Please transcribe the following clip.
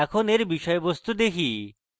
এখন এর বিষয়বস্তু দেখি